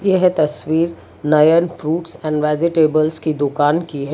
यह तस्वीर Nayan fruits and vegetables कि दुकान की हैं।